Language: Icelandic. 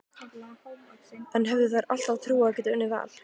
En höfðu þær alltaf trú á að geta unnið Val?